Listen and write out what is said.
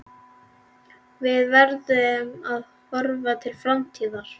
Við verðum að horfa til framtíðar.